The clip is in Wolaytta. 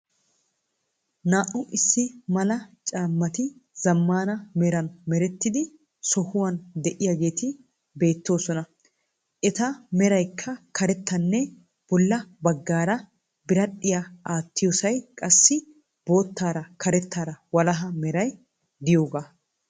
Naa"u issi mala caammati zammana meran merettida sohuwan de'iyaageeti beettoosona. Eta meraykka karettanne bolla baggaara biradhdhiyaa aattiyosay qassi boottaara karettaara walahaa meray diyoogaa.